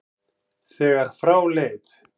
þegar frá leið.